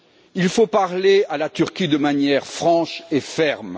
Il faut parler à la Turquie de manière franche et ferme.